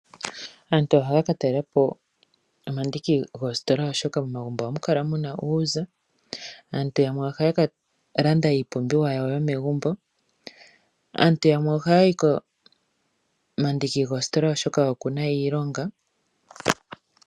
Aantu ohaya ka talela po omandiki goositola oshoka momagumbo ohamu kala muna uuza. Aantu yamwe ohaya ka landa iipumbiwa yawo yomegumbo. Aantu yamwe ohaya yi komandiki goositola oshoka okuna iilonga.